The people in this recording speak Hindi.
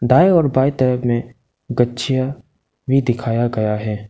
दाएं और बाएं तरफ में भी गाछीआ भी दिखाया गया है।